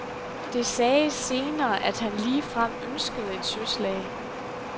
Det sagdes senere, at han ligefrem ønskede et søslag.